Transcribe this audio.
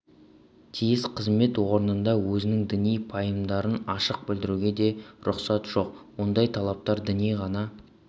тиіс қызмет орнында өзінің діни пайымдарын ашық білдіруге де рұқсат жоқ ондай талаптар дінге ғана